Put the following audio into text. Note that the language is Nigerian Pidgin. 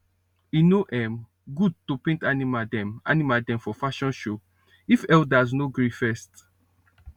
e no um good to paint animal dem animal dem for fashion show if elders no gree first